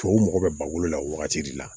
Tubabuw mago bɛ ba bolo la wagati de la